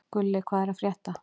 Gulli, hvað er að frétta?